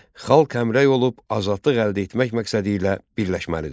Xalq həmrəy olub azadlıq əldə etmək məqsədilə birləşməlidir.